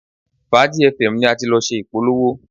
Fàájì fm ni a ti lọ ṣe ìpolówó